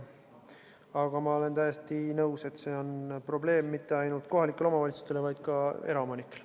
Aga ma olen täiesti nõus, et see on probleem – ja mitte ainult kohalikele omavalitsustele, vaid ka eraomanikele.